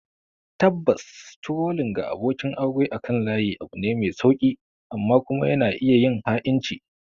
Tabbas, trolling ga abokin aure akan layi abu ne mai sauƙi; amma kuma yana iya yin ha'inci